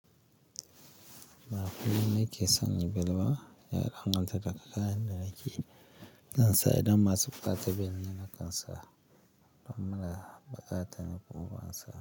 Maafun ni keesaan belba, yaaran anza ta kakaan nanaki. Dan sa edan masupta te ben nanakan sa. Amma ba kaatan ko ban sa.